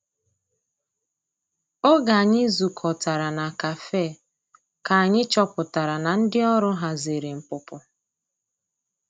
Oge anyi zu kọtara na kafe ka anyi chọpụtara na ndi ọrụ hazịrị npụpụ.